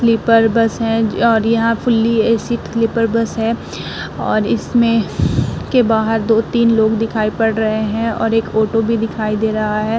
Sleeper bus हैं और यहां फुल्ली एसी स्लीपर बस हैं और इसमें के बाहर दो-तीन लोग दिखाई पड़ रहे हैं और एक ओटो भी दिखाई दे रहा है।